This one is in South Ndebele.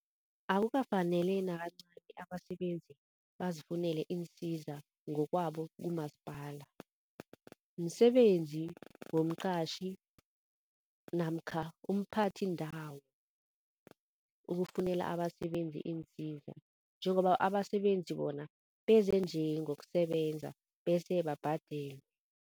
Akukafaneli nakancani abasebenzi bazifunele iinsiza ngokwabo kumasipala, msebenzi womqatjhi namkha umphathindawo ukufunela abasenzi iinsiza. Njengoba abasebenzi bona beze nje ngokusebenza bese babhadelwe.